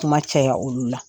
Kuma caya olu la.